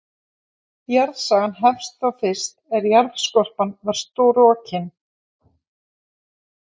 Jarðsagan hefst þá fyrst er jarðskorpan varð storkin.